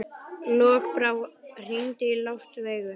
Lokbrá, hringdu í Loftveigu.